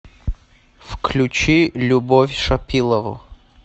включи любовь шапилову